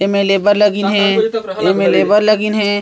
in labour लोग इन्हे इन लेबर लोग इन्हे--